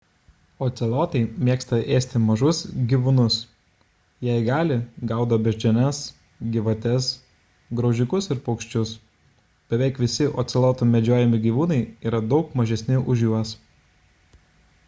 ocelotai mėgsta ėsti mažus gyvūnus jei gali gaudo beždžiones gyvates graužikus ir paukščius beveik visi ocelotų medžiojami gyvūnai yra daug mažesni už juos